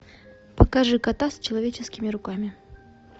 покажи кота с человеческими руками